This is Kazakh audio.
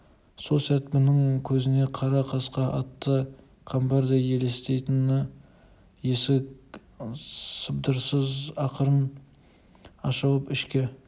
сол сәт бұның көзіне қара қасқа атты қамбардай елестейтін есік сыбдырсыз ақырын ашылып ішке